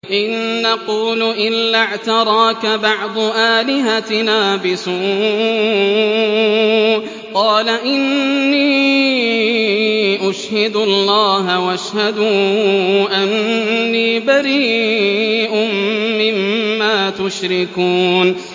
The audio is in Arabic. إِن نَّقُولُ إِلَّا اعْتَرَاكَ بَعْضُ آلِهَتِنَا بِسُوءٍ ۗ قَالَ إِنِّي أُشْهِدُ اللَّهَ وَاشْهَدُوا أَنِّي بَرِيءٌ مِّمَّا تُشْرِكُونَ